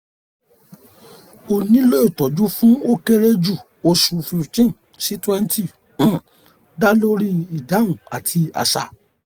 o nilo itọju fun o kere ju osu fifteen si twenty um da lori idahun ati aṣa